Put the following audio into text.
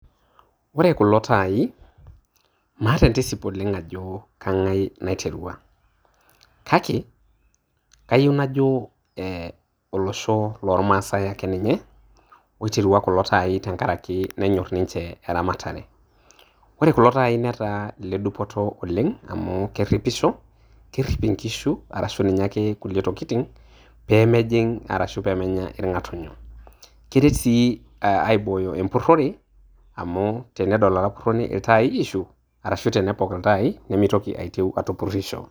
Ore kulo taai, maata entisip oleng ajo, keng`ae naiterua. Kake kayieu najo eeh olosho loo lmaasai ake ninye oiterua kulo taai tenkaraki nenyorr ninche e ramatare. Ore kulo taai netaa ile dupoto oleng amu kerripisho. Kerrip inkishu arashu ninye ake kulie tokitin pee mejing arashu pee menya irng`atunyo. Keret sii aibooyo empurrore amu tenedol olapurroni iltaayi ishu arashu tenepok iltaaayi nemeitoki aitieu atupurisho.